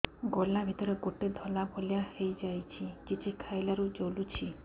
ଗଳା ଭିତରେ ଗୋଟେ ଧଳା ଭଳିଆ ହେଇ ଯାଇଛି କିଛି ଖାଇଲାରୁ ଜଳୁଛି